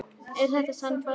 Er þetta sannfærandi?